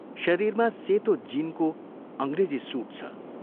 शरीरमा सेतो जीनको अंग्रेजी सूट छ।